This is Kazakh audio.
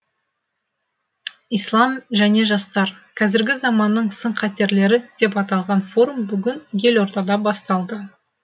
ислам және жастар қазіргі заманның сын қатерлері деп аталған форум бүгін елордада басталды